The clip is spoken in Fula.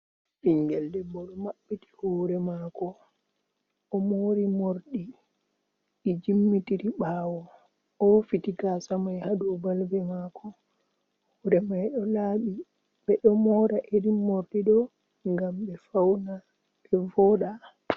Ɓinngel debbo ɗo maɓɓiti hoore maako, o moori moorɗi jimmitiri ɓaawo, o safiti gaasamay, haa dow balbe maako, hoore may ɗo laaɓi, ɓe ɗo moora irin moorɗi ɗo ngam ɓe fawna ɓe vooɗa.